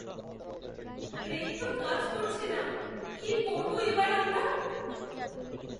Break তো কাজ করছে না। কী করবো এবার আমরা?